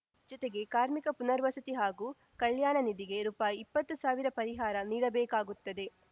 ಜೊತೆಗೆ ಕಾರ್ಮಿಕ ಪುನರ್ವಸತಿ ಹಾಗೂ ಕಲ್ಯಾಣ ನಿಧಿಗೆ ರೂಪಾಯಿ ಇಪ್ಪತ್ತು ಸಾವಿರ ಪರಿಹಾರ ನೀಡಬೇಕಾಗುತ್ತದೆ